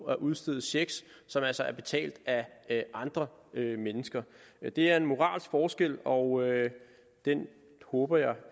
at udstede checks som altså er betalt af andre mennesker det er en moralsk forskel og den håber jeg